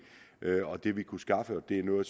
det vi kunne skaffe og det er noget